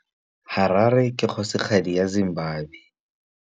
Harare ke kgosigadi ya Zimbabwe.